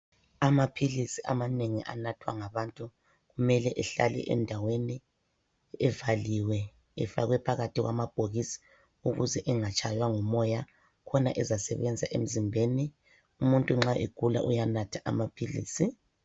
Amaphilisi amanengi anathwa ngabantu kumele ehlale endaweni evaliwe efakwe phakathi kwamabhokisi ukuze engatshaywa ngumoya , khona ezasebenza emzimbeni. Umuntu nxa egula uyanatha amaphilisi.